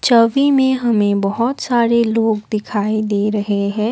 छवि में हमे बहुत सारे लोग दिखाई दे रहे हैं।